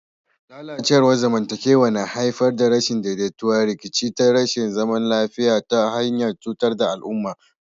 Lalacewar zamantakewa na iya haifar da rashin daidaito, rikici da rashin zaman lafiya ta hanyar cutar da mutum da al'umma.